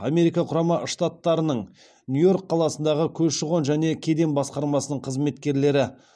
америка құрама штаттарының нью йорк қаласындағы көші қон және кеден басқармасының қызметкерлері